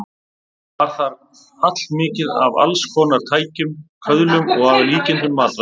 Var þar allmikið af alls konar tækjum, köðlum og að líkindum matvælum.